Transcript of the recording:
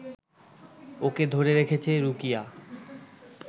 ওকে ধরে রেখেছে রুকিয়া